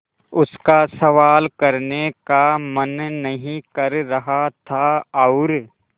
उसका सवाल करने का मन नहीं कर रहा था और